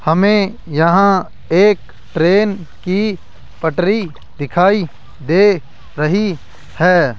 हमें यहां एक ट्रेन की पटरी दिखाई दे रही है।